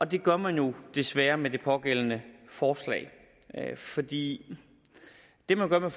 det gør man jo desværre med det pågældende forslag fordi det man gør med